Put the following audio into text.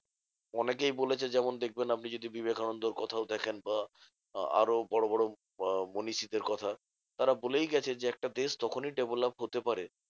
অনেকেই বলেছে যেমন দেখবেন আপনি যদি বিবেকানন্দর কথাও দেখেন বা আ~ আরও বড়বড় আহ মনীষীদের কথা, তারা বলেই গেছে যে একটা দেশ তখনই develop হতে পারে